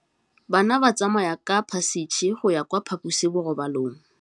Bana ba tsamaya ka phašitshe go ya kwa phaposiborobalong.